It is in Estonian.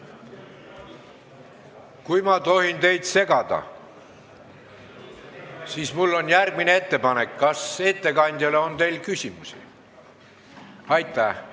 Kolleegid, kui ma tohin teid segada, siis mul on järgmine küsimus: kas teil on ettekandjale küsimusi?